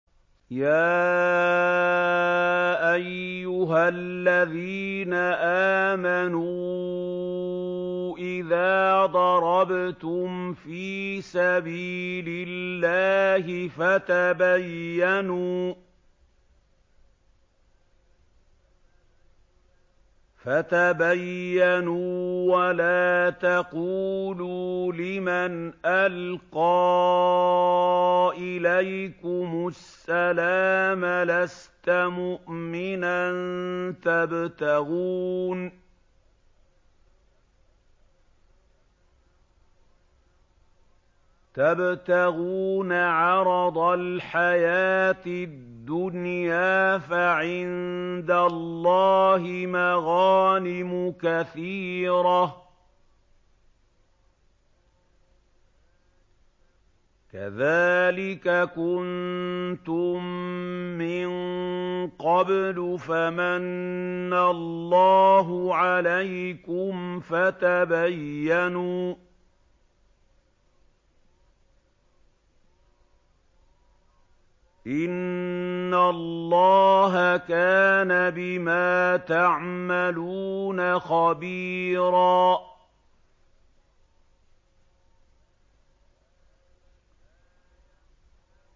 يَا أَيُّهَا الَّذِينَ آمَنُوا إِذَا ضَرَبْتُمْ فِي سَبِيلِ اللَّهِ فَتَبَيَّنُوا وَلَا تَقُولُوا لِمَنْ أَلْقَىٰ إِلَيْكُمُ السَّلَامَ لَسْتَ مُؤْمِنًا تَبْتَغُونَ عَرَضَ الْحَيَاةِ الدُّنْيَا فَعِندَ اللَّهِ مَغَانِمُ كَثِيرَةٌ ۚ كَذَٰلِكَ كُنتُم مِّن قَبْلُ فَمَنَّ اللَّهُ عَلَيْكُمْ فَتَبَيَّنُوا ۚ إِنَّ اللَّهَ كَانَ بِمَا تَعْمَلُونَ خَبِيرًا